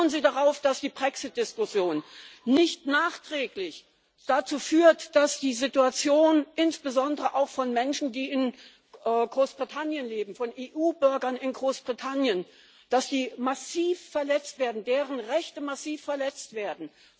Schauen Sie darauf, dass die Brexit Diskussion nicht nachträglich dazu führt, dass die Rechte insbesondere auch von Menschen, die in Großbritannien leben, von EU Bürgern in Großbritannien massiv verletzt werden.